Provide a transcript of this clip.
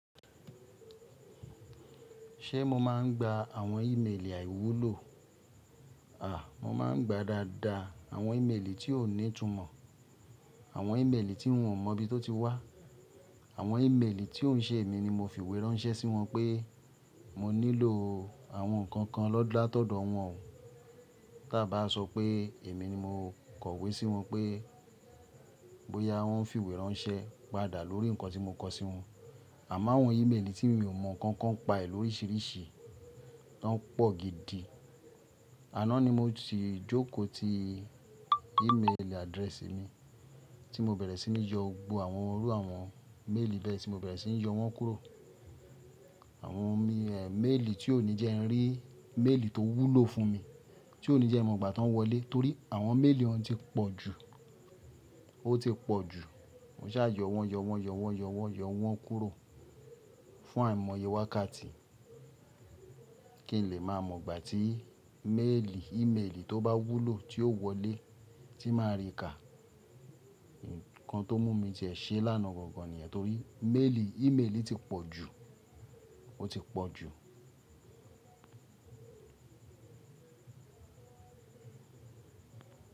Ṣé mo máa ń gba àwọn ímeèlì àìwúlò? À, mo máa ń gba dáadáa àwọn ímeèlì tí ò ní ìtumọ̀, àwọn ímeèlì tí n ò mọ̀ bí tó ti wá, àwọn ímeèlì tí ò ṣe èmi ni mo fi ìwé ránṣẹ́ sí wọn pé mo nílò àwọn nǹkan kan lọ́dàtọ̀dọ̀ wọn o. Ta bá sọ pé èmi ni mo kọ̀wé sí wọn pé bóyá wọ́n fi ìwé ránṣẹ́ padà lórí nǹkan tí mo kọ sí wọn. Àmo awọn ímeèlì tí n ò mọ̀ nǹkan kan pa è lórísìírísìí, tọ́n pọ̀ gidi. Àná ni mo si jókòó ti ímeèlì adréèsì mi tí mo bẹ̀rẹ̀ sí ní yọ gbogbo àwọn orú àwọn méèlì bẹ́ẹ̀ tí mo bẹ̀rẹ̀ sí ní yọ wọ́n kúrò. Àwọn mi, e, méèlì tí ò ní jẹ́ n rí méèlì tó wúlò fún mi, tí ò ní jẹ́ ẹ mọ̀ gbà tí wọ́n wọlé torí àwọn méèlì o un ti pọ̀ jù, ó ti pọ̀ jù. Mo ṣà yọ wọ́n, yọ wọ́n, yọ wọ́n, yọ wọ́n, yọ wọ́n kúrò fún àìmọye wákàtí kí n lè má mọ̀ gbà tí méèlì, ímeèlì tó bá wúlò tí ó wọlé tí màá rí ká. Nǹkan tó mú mi tiẹ ṣe lánàá gangan nìyẹn torí méèlì, ímeèlì ti pọ̀ jù, ó ti pọ̀ jù.